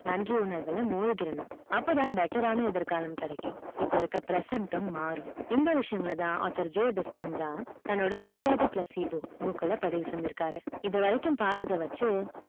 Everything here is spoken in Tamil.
நன்றி உணர்வு அப்ப தான் better ஆன எதிர்காலம் கிடைக்கும் இப்ப இருக்க present யும் மாறும் இந்த விஷியங்கள் தான் author தண்டோடு u are the book ல பதிவு செஞ்சு இருக்காரு இது வரிக்கும் பத்தாதவச்சு